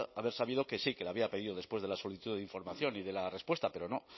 haber sabido que sí que le había pedido después de la solicitud de información y de la respuesta pero no